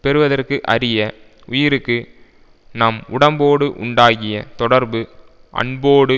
பெறுவதற்கு அரிய உயிருக்கு நம் உடம்போடு உண்டாகிய தொடர்பு அன்போடு